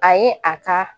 A ye a ka